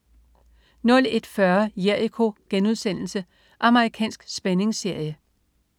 01.40 Jericho.* Amerikansk spændingsserie